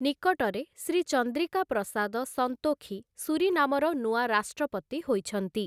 ନିକଟରେ, ଶ୍ରୀ ଚନ୍ଦ୍ରିକା ପ୍ରସାଦ ସନ୍ତୋଖି ସୁରିନାମର ନୂଆ ରାଷ୍ଟ୍ରପତି ହୋଇଛନ୍ତି ।